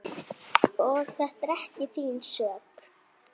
Og ekki þín sök.